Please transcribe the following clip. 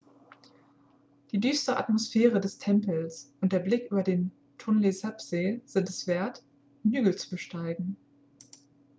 die düstere atmosphäre des tempels und der blick über den tonle-sap-see sind es wert den hügel zu besteigen